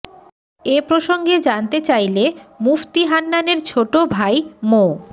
এ প্রসঙ্গে জানতে চাইলে মুফতি হান্নানের ছোট ভাই মো